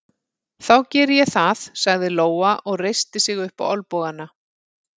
Þá geri ég það, sagði Lóa og reisti sig upp á olnbogana.